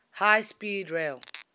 high speed rail